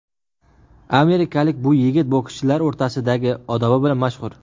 Amerikalik bu yigit bokschilar o‘rtasida odobi bilan mashhur.